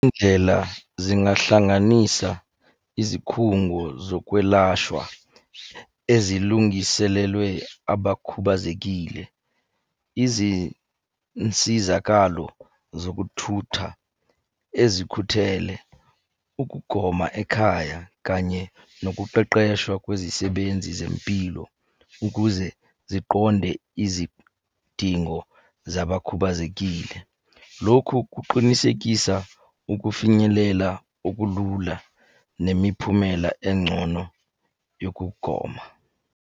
Iy'ndlela zingahlanganisa izikhungo zokwelashwa ezilungiselelwe abakhubazekile. Izinsizakalo zokuthutha ezikhuthele. Ukugoma ekhaya, kanye nokuqeqeshwa kwezisebenzi zempilo, ukuze ziqonde izidingo zabakhubazekile. Lokhu kuqinisekisa ukufinyelela okulula nemiphumela engcono yokugoma.